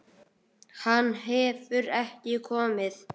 Hann hefur ekki komið.